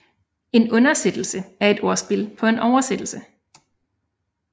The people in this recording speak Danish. En undersættelse er et ordspil på oversættelse